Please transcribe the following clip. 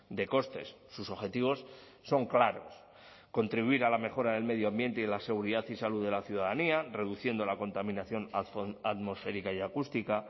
de costes sus objetivos son claros contribuir a la mejora del medio ambiente y la seguridad y salud de la ciudadanía reduciendo la contaminación atmosférica y acústica